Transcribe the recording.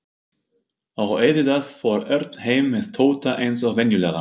Og auðvitað fór Örn heim með Tóta eins og venjulega.